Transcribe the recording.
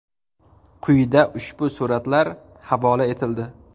Quyida ushbu suratlar havola etildi.